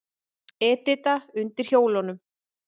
Edita undir hjólunum.